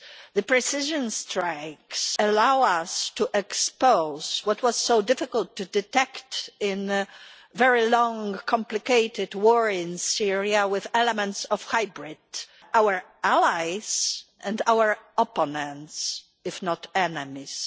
The precision strikes allow us to expose what was so difficult to detect in the very long, complicated war in Syria, with elements of hybrid our allies and our opponents, if not enemies.